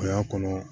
O y'a kɔnɔ